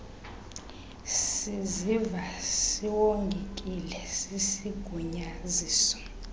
siziva siwongekile sisigunyaziso